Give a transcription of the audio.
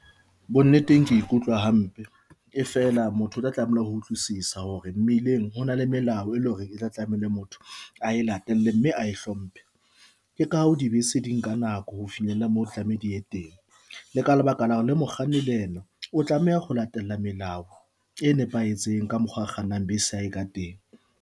Bonneteng ke ikutlwa hampe e fela motho o tla tlameha ho utlwisisa hore mmileng hona le melao, e le hore e tla tlamehile motho a e latele mme ae hlomphe ka o dibese di nka nako ho finyella mo tlameha di ye teng. Le ka lebaka la hore le mokganni le ena o tlameha ho latela melao e nepahetseng. Ka mokgwa a kgannang bese ya hae ka teng.